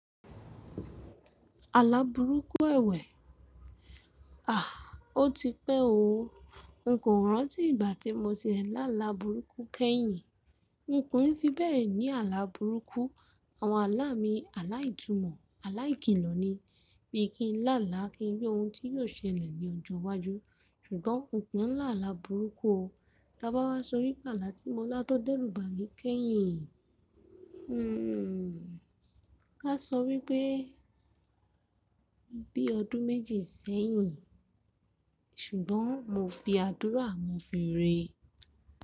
Àlàbùrúkù èwè? Àh! Ó ti pẹ́ o. N kò rántí ìgbà tí mo ti e la alàbùrúkù kẹ́yìn. N kò í fi bẹ́ẹ̀ ni àlàbùrúkù. Àwọn àlá mi àlá ìtumọ̀, àlá ìkìlọ̀ ni. Bí i kí n láàlá kí n rí ohun tí yóò ṣẹlẹ̀ ní ọjọ́ iwájú. Ṣùgbọ́n n kò mọ àlàbùrúkù o. Ta bá wá sọ wípé àlà tí mo lá tó dẹ́rù bà mí kẹ́yìn, Ká sọ wípé bí ọdún méjì sẹ́yìn. Ṣùgbọ́n mo fi àdúrà, mo fi ré.